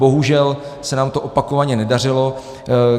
Bohužel se nám to opakovaně nedařilo.